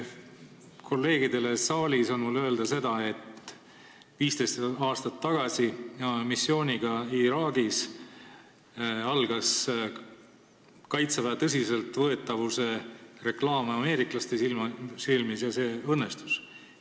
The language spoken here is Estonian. Kolleegidele saalis on mul öelda seda, et 15 aastat tagasi me olime missiooniga Iraagis, algas meie kaitseväe tõsiseltvõetavuse reklaam ameeriklaste jaoks ja see õnnestus.